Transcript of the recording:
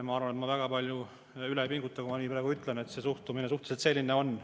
" Ma arvan, et ma väga palju üle ei pinguta, kui ma nii ütlen, sest suhteliselt selline see suhtumine praegu on.